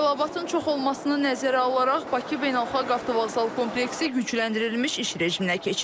Tələbatın çox olmasını nəzərə alaraq Bakı Beynəlxalq Avtovağzal kompleksi yükləndirilmiş iş rejiminə keçib.